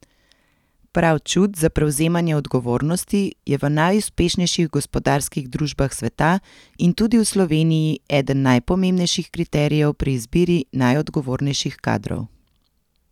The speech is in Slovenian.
Prav čut za prevzemanje odgovornosti je v najuspešnejših gospodarskih družbah sveta in tudi v Sloveniji eden najpomembnejših kriterijev pri izbiri najodgovornejših kadrov.